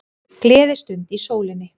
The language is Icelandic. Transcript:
Gleðistund í sólinni